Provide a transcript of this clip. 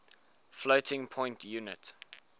floating point unit